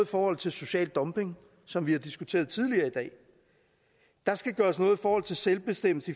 forhold til social dumping som vi har diskuteret tidligere i dag der skal gøres noget i forhold til selvbestemmelse